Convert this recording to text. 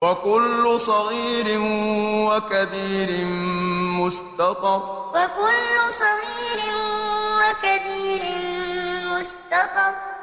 وَكُلُّ صَغِيرٍ وَكَبِيرٍ مُّسْتَطَرٌ وَكُلُّ صَغِيرٍ وَكَبِيرٍ مُّسْتَطَرٌ